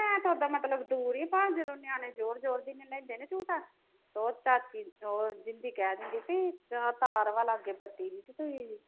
ਹੈ ਤੇ ਉਦਾਂ ਮਤਲਬ ਦੂਰ ਈ ਪਰ ਜਦੋਂ ਨਿਆਣੇ ਜੋਰ ਜੋਰ ਦੀ ਨੀ ਲੈਂਦੇ ਝੂਠਾ ਉਹ ਤੱਕ ਉਹ ਦਿੰਦੀ ਕਹਿਣ ਦਿੰਦੀ ਬਈ ਤਾਰ ਵਾ ਲਾਗੇ ਬੱਤੀ ਦੀ ਤੁਹੀ